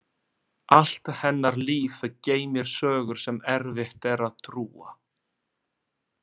Allt hennar líf geymir sögur sem erfitt er að trúa.